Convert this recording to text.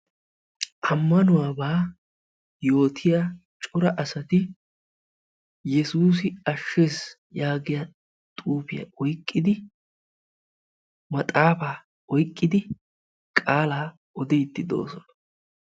ammanuwaabaa yootiya cora asati "yesuusi ashshes" yaagiya xuufiya oyikkidi maxaafaa oyikkidi qaalaa odiiddi doosona.